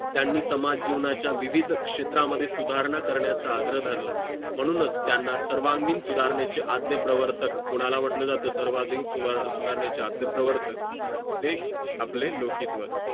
त्यांनी समाज जीवनाचा विविध क्षेत्रा मध्ये सुधार करण्याचं आग्रह धरला म्हणूनच त्यांना सर्वांगीण सुधारणेचे आद्य प्रवर्तक कोणाला म्हणले जाते सर्वाधिक सुधारणेचे आद्य प्रवर्तक ते आपले लोकिकवाद